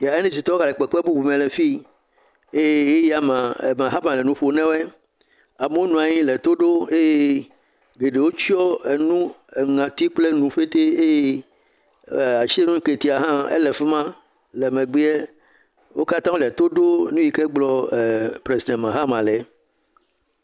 NDCtɔwo gale kpekpe bubume le fii. Eye le ʋe yi ʋi ya mea, Mahama le nu ƒo nawoe. Amewo na anyi le to ɖom eye geɖewo tsyɔ̃ nu ŋati kple enu ƒetee eye Asiedu Nketia hã ele fi ma le megbeɛ. Wo katã wole to ɖo nu yi ke gblɔ ɛɛ Presidɛnti Mahama le.